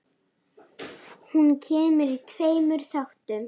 Hún kemur í tveimur þáttum.